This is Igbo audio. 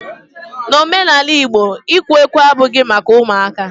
N'omenala igbo, ikwe ukwe abughi maka ụmụaka